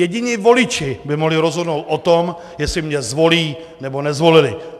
Jediní voliči by mohli rozhodnout o tom, jestli mě zvolí, nebo nezvolí.